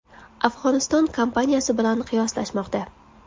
Afg‘oniston kampaniyasi bilan qiyoslashmoqda.